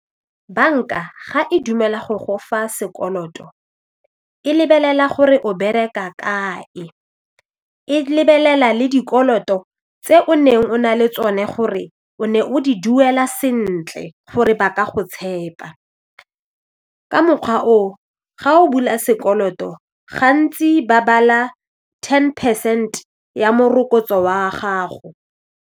Banka ga e dumela go go fa sekoloto e lebelela gore o bereka kae e lebelela le dikoloto tse o neng o na le tsone gore o ne o di duela sentle gore ba ka go tshepa ka mokgwa oo ga o bula sekoloto gantsi ba bala ten percent ya morokotso wa gago.